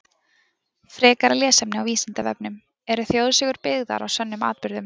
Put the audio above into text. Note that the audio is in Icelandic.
Frekara lesefni á Vísindavefnum: Eru þjóðsögur byggðar á sönnum atburðum?